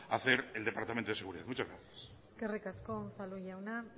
hacer el departamento de seguridad muchas gracias eskerrik asko unzalu jauna